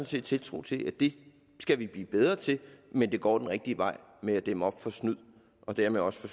set tiltro til det skal vi blive bedre til men det går den rigtige vej med at dæmme op for snyd og dermed også for